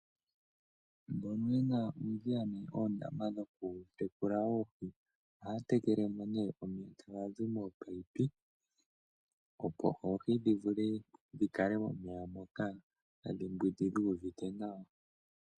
Mbono ye na uudhiya nenge oondama dhokutekula oohi ohaya tekele mo nee omeya taga zi moopaipi opo oohi dhi vule dhi kale momeya moka tadhi mbwindi dhu uvite nawa.